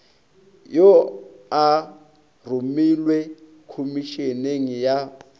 wo a romelwe khomišeneng ya